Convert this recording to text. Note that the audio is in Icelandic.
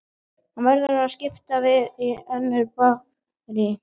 Hann verður að skipta við önnur bakarí.